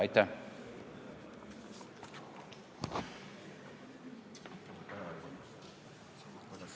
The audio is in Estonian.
Aitäh!